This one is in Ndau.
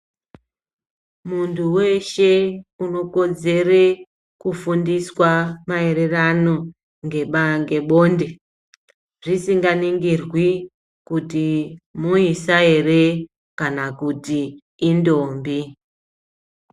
Muntu veshe unokodzere kufundiswa maererano ngebonde zvisinganingirwi kuti muisa ere, kana kuti indombi.